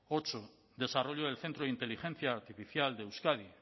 ocho desarrollo del centro de inteligencia artificial de euskadi